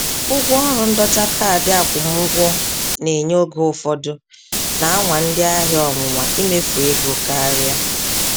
Ụgwọ ọrụ ndọta kaadị akwụmụgwọ na-enye oge ụfọdụ na-anwa ndị ahịa ọnwụnwa imefu ego karịa.